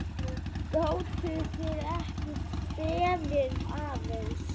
Gátuð þið ekki beðið aðeins?